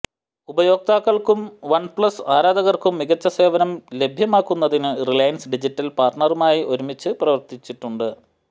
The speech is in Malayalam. ഉപയോക്താക്കൾക്കും വൺപ്ലസ് ആരാധകർക്കും മികച്ച സേവനം ലഭ്യമാക്കുന്നതിന് റിലയൻസ് ഡിജിറ്റൽ പാർട്ണറുമായി ഒരുമിച്ച് പ്രവർത്തിച്ചിട്ടുണ്ട്